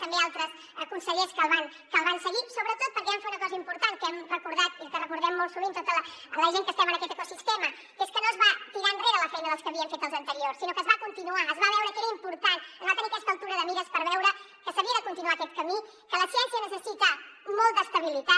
també altres consellers que el van seguir sobretot perquè van fer una cosa important que hem recordat i que recordem molt sovint tota la gent que estem en aquest ecosistema que és que no es va tirar enrere la feina que havien fet els anteriors sinó que es va continuar es va veure que era important es va tenir aquesta altura de mires per veure que s’havia de continuar aquest camí que la ciència necessita molta estabilitat